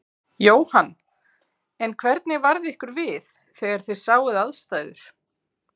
Jóhann: En hvernig varð ykkur við þegar þið sáuð aðstæður?